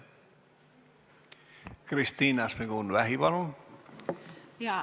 Kristina Šmigun-Vähi, palun!